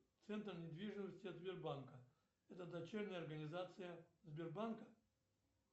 центр недвижимости от сбербанка это дочерняя организация сбербанка